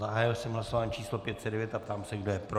Zahájil jsem hlasování číslo 509 a ptám se, kdo je pro.